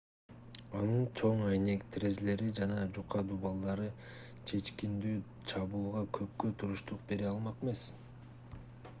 анын чоң айнек терезелери жана жука дубалдары чечкиндүү чабуулга көпкө туруштук бере алмак эмес